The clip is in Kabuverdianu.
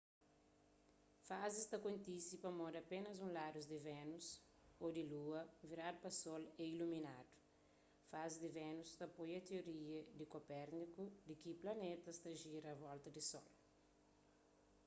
fazis ta kontise pamodi apénas un ladu di vénus ô di lua viradu pa sol é iluminadu. fazis di vénus ta apoia tioria di kopérniku di ki planetas ta jira a volta di sol